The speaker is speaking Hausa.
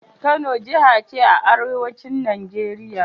Kano jaha ce a arewacin Najeriya.